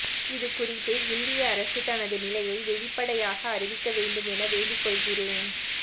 இது குறித்து இந்திய அரசு தனது நிலையை வெளிப்படையாக அறிவிக்க வேண்டும் என வேண்டிக்கொள்கிறேன்